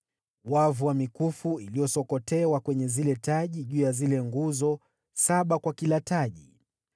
Wavu wa mikufu iliyosokotewa kwenye zile taji juu ya zile nguzo, saba kwa kila taji.